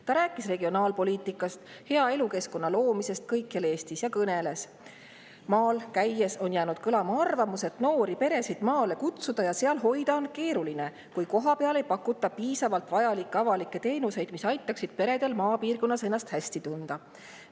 Ta rääkis regionaalpoliitikast, hea elukeskkonna loomisest kõikjal Eestis ja kõneles, et maal käies on jäänud kõlama arvamus, et noori peresid maale kutsuda ja seal hoida on keeruline, kui kohapeal ei pakuta piisavalt vajalikke avalikke teenuseid, mis aitaksid peredel maapiirkonnas ennast hästi tunda.